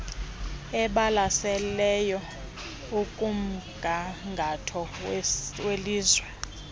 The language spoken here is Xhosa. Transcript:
ebalaseleyo ekumgangatho welizwe